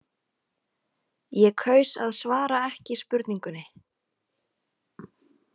Ég kaus að svara ekki spurningunni.